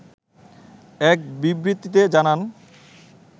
এক বিবৃতিতে জানান